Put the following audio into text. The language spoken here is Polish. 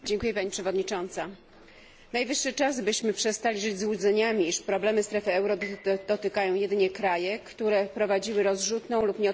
Najwyższy czas, byśmy przestali żyć złudzeniami, iż problemy strefy euro dotykają jedynie kraje, które prowadziły rozrzutną lub nieodpowiedzialna politykę makrofinansową.